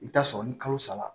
I bɛ taa sɔrɔ ni kalo saba